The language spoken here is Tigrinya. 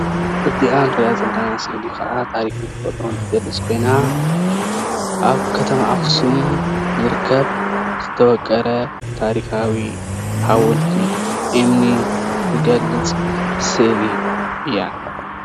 እዚአ እንሪአ ዘለና ስእሊ ከአ ታሪክን ተፈጥሮ ትገልፅ ኮይና አብ ከተማ አክሱም ዝርከብ ዝተወቀረ ታሪካዊ ሓወልቲ እምኒ ትገልፅ ስእሊ እያ፡፡